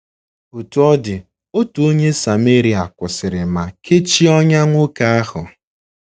Otú ọ dị, otu onye Sameria kwụsịrị ma kechie ọnyá nwoke ahụ.